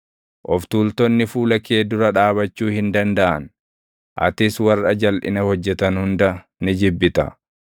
Of tuultonni fuula kee dura dhaabachuu hin dandaʼan. Atis warra jalʼina hojjetan hunda ni jibbita;